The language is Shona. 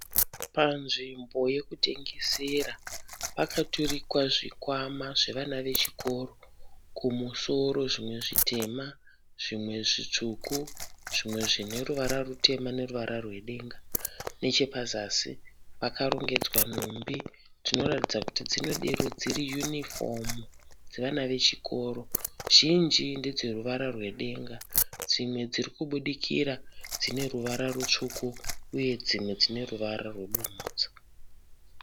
Panzvimbo yekutengesera pakaturikwa zvikwama zvevana vechikoro kumusoro zvimwe zvitema , zvimwe zvitsvuku, zvimwe zvine reruvara rutema neruvara rwe denga. Neche pazasi pakarongedzwa nhumbi dziroratidza dzinedero dziri uniform dzevana vechikoro zhinji ndedze ruvara rwedenga , dzimwe dziri kubudikira dzine ruvara rwutsvuku uye dziruvara rwebumhidzo.